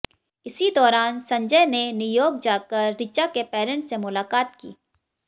इसी दौरान संजय ने न्यूयॉर्क जाकर रिचा के पेरेंट्स से मुलाकात की